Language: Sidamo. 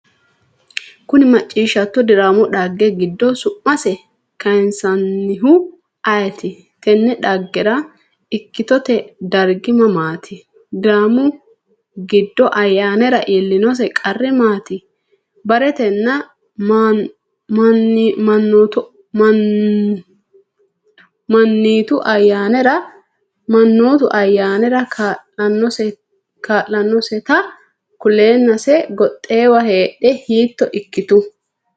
Konni macciishshitto diraamu dhagge giddo su’masi kayinsoonnihu ayeti? Tinne dhaggera ikkitote dargi mamaati? Diraamu giddo Ayyaanera iillinose qarri maati? Ba’riitenna Maa’nitu Ayyaanera kaa’lannoseta kuleennase goxxinowa heedhe hiitto ikkitu?